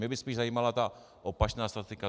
Mě by spíš zajímala ta opačná statistika.